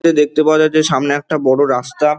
দেখতে পাওয়া যাচ্ছে সামনে একটা বড় রাস্তা ।